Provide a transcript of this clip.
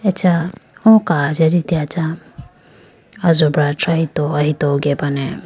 Acha o kachi ajiteyacha ajobra thrahito ahito gebane.